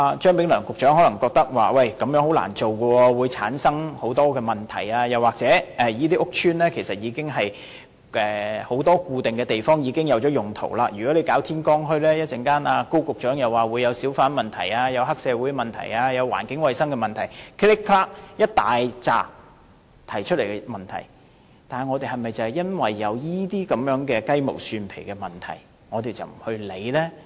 張炳良局長可能覺得這樣很難做，會產生很多問題，又或這些屋邨很多固定地方已有既定用途，如果舉辦天光墟，高局長又會提出小販、黑社會、環境衞生等一大堆問題，但我們是否因為這些雞毛蒜皮的問題而不去做呢？